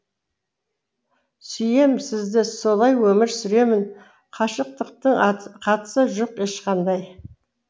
сүйем сізді солай өмір сүремін қашықтықтың қатысы жоқ ешқандай